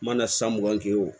Mana san mugan kɛ wo